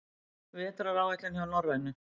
Vetraráætlun hjá Norrænu